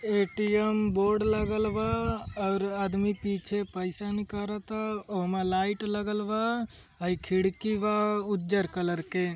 ATM board लागल बा और आदमी पीछे पैसे निकारत ओम लाइट लागल बा खिड़की बा उजर कलर के।